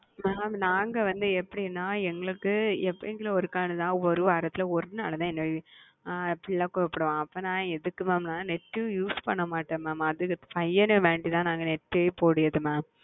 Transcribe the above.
நீங்க எது எடுக்குறீங்க நாங்க வந்து எப்படின ஒருவரத்துல ஒருவாடித்த ஏ புள்ள போன் பண்ணுவ அப்போது எதுக்கு ந netuse பண்ண மட்ட mam ஏ பயணுக்கத்தா நாங்க net போடுறம்